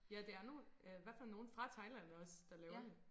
Ja det er nogen i hvert fald nogen fra Thailand også der laver det